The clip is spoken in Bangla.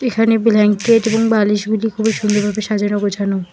এখানে ব্ল্যাঙ্কেট এবং বালিশ গুলি খুব সুন্দরভাবে সাজানো গোছানো।